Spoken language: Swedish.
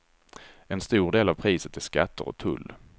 En stor del av priset är skatter och tull.